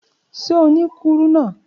Ṣe o ni kuruna?